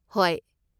ꯍꯣꯏ꯫